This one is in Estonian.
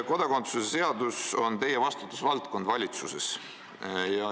" Kodakondsuse seadus on valitsuses teie vastutusvaldkonnas.